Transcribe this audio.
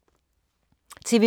TV 2